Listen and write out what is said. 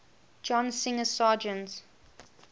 john singer sargent